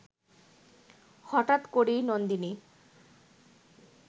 হঠাৎ করেই নন্দিনী